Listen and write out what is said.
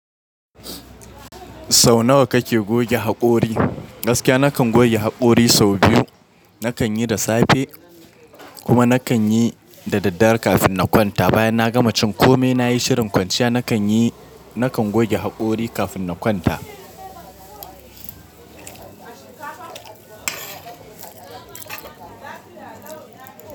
Sau nawa kake goge haƙori? Gaskiya nakan goge hakori sau biyu. Nakan yi da safe kuma nakan yi da daddare kafin na kwanta. Bayan na gama cin kome nayi shirin kwanciya, nakanyi nakan goge hakori kafin na kwanta.